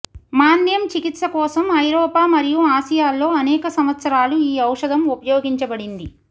మాంద్యం చికిత్స కోసం ఐరోపా మరియు ఆసియాల్లో అనేక సంవత్సరాలు ఈ ఔషధం ఉపయోగించబడింది